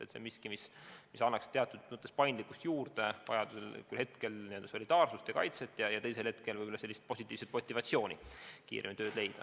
Ehk see on miski, mis annaks teatud mõttes paindlikkust ja vajadusel ka solidaarsust ja kaitset juurde, teisalt aga võib-olla lisab positiivset motivatsiooni kiiremini tööd leida.